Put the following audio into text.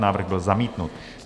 Návrh byl zamítnut.